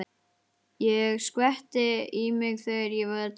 Ég skvetti í mig þegar ég var til sjós.